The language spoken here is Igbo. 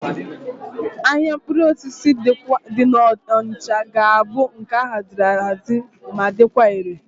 Ahịa mkpụrụ osisi dị n'Onịcha ga-abụ nke a haziri ahazi ma dịkwa ire.